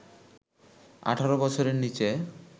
১৮ বছরের নিচে